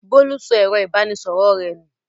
Bólú sọ ẹ̀rọ-ìbánisọ̀rọ̀ rẹ̀ nù.